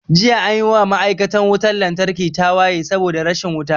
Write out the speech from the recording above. Jiya anyi wa ma'aikatan wutan lantarki tawaye saboda rashin wuta